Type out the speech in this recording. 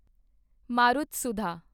Marutsudha